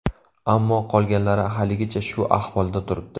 Ammo qolganlari haligacha shu ahvolda turibdi.